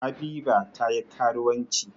Habiba ta yi karuwanci.